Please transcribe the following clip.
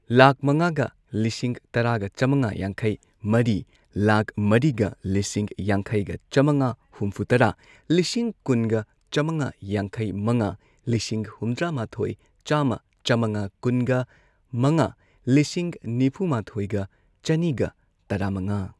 ꯂꯥꯈ ꯃꯉꯥꯒ ꯂꯤꯁꯤꯡ ꯇꯔꯥꯒ ꯆꯥꯝꯃꯉꯥ ꯌꯥꯡꯈꯩ ꯃꯔꯤ ꯂꯥꯛ ꯃꯔꯤꯒ ꯂꯤꯁꯤꯡ ꯌꯥꯡꯈꯩꯒ ꯆꯥꯝꯃꯒ ꯍꯨꯝꯐꯨꯇꯔꯥ ꯂꯤꯁꯤꯡ ꯀꯨꯟꯒ ꯆꯥꯝꯃꯒ ꯌꯥꯡꯈꯩ ꯃꯉꯥ ꯂꯤꯁꯤꯡ ꯍꯨꯝꯗ꯭ꯔꯥꯃꯥꯊꯣꯏ ꯆꯥꯝꯃ ꯆꯥꯃꯉꯥ ꯀꯨꯟꯒ ꯃꯉꯥ ꯂꯤꯁꯤꯡ ꯅꯤꯐꯨꯃꯥꯊꯣꯏꯒ ꯆꯅꯤꯒ ꯇꯔꯥꯃꯉꯥ